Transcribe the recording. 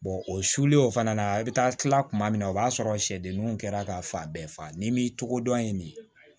o sulu o fana na i bɛ taa tila tuma min na o b'a sɔrɔ sɛdenninw kɛra ka fa bɛɛ fa n'i m'i togodɔn in de